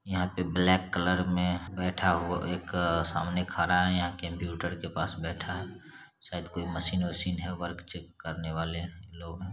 यहाँ पे black colour मे बैठा हुआ एक सामने खड़ा है यहाँ कंप्यूटर के पास बैठा है शायद कोई मशीन-वशीन है वर्क चेक करने वाले लोग---